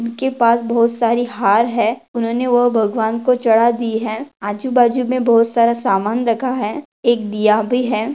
उनके पास बहुत सारे हर है उन्होंने वो भगवान को चढ़ा दि हैं आजू-बाजू में बहुत सारा सामान रखा है एक दिया भी है।